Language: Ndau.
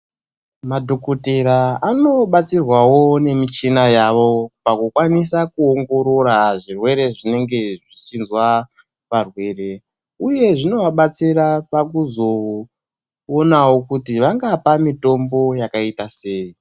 Madhokotera anobatsirwawo nemichina yavo pakukwanisa kuongorora zvirwere zvinenge zvichinzwa varwere, uye zvinovabatsirawo pakuzoonawo kuti vangapa mitombo yakaita sei?